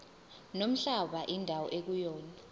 nomhlaba indawo ekuyona